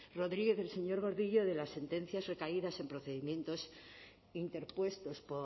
rodriguez o el señor gordillo de las sentencias recaídas en procedimientos interpuestos